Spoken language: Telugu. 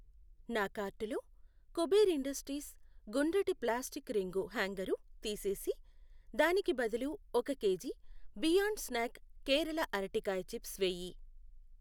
నా కార్టులో కుబేర్ ఇండస్ట్రీస్ గుండ్రటి ప్లాస్టిక్ రింగు హ్యాంగరు తీసేసి దానికి బదులు ఒక కేజీ బియాండ్ స్న్యాక్ కేరళ అరటికాయ చిప్స్ వేయి.